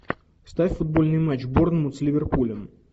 ставь футбольный матч борнмут с ливерпулем